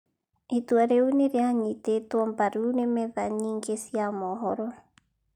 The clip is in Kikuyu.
Itua rĩu nĩ rĩanyitĩtwo mbaru nĩ metha yingĩ cia mohoro.